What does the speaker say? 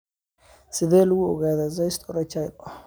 Sidee lagu ogaadaa cyst urachal?